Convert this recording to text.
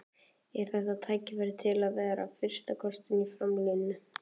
Er þetta tækifæri til að vera fyrsti kosturinn í framlínunni?